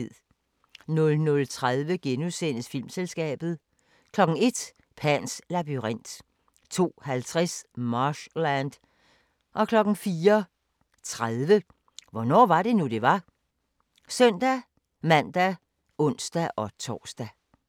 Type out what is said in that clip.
00:30: Filmselskabet * 01:00: Pans labyrint 02:50: Marshland 04:30: Hvornår var det nu, det var? (søn-man og ons-tor)